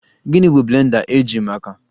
Gịnị bụ blender eji maka?